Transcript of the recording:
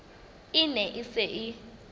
e ne e se e